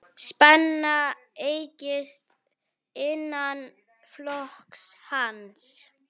Spenna eykst innan flokks hans.